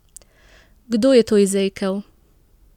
Kdo je to izrekel?